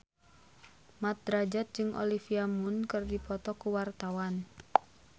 Mat Drajat jeung Olivia Munn keur dipoto ku wartawan